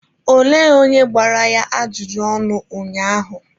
Olee onye gbara ya ajụjụ ọnụ ụnyaahụ?